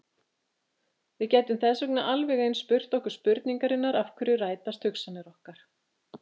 Við gætum þess vegna alveg eins spurt okkur spurningarinnar af hverju rætast hugsanir okkar?